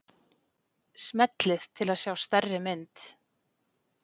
Smellið til að sjá stærri mynd.